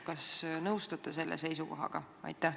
Kas te nõustute selle seisukohaga?